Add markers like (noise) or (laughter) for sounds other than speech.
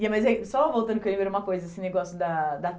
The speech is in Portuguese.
(unintelligible) Só voltando que eu lembrei uma coisa, esse negócio da da